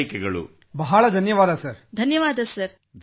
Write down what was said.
ಬಹಳ ಧನ್ಯವಾದ ಧನ್ಯವಾದ ಸರ್ ಧನ್ಯವಾದ |